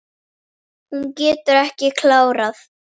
Hún getur ekki klárað.